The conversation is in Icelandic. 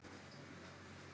Róbert: Óttasleginn?